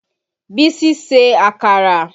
Bísí ṣe àkàrà